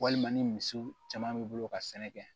Walima ni misiw caman b'i bolo ka sɛnɛ kɛ